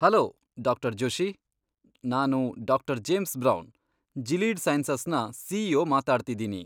Hello, ಡಾ. ಜೋಷಿ. ನಾನು ಡಾ. ಜೇಮ್ಸ್ ಬ್ರೌನ್, ಜೀಲೀಡ್ ಸೈನ್ಸಸ್ನ ಸಿ.ಈ.ಓ. ಮಾತಾಡ್ತಿದ್ದೀನಿ.